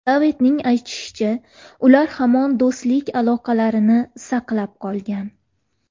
Davidning aytishicha, ular hamon do‘stlik aloqalarini saqlab qolgan.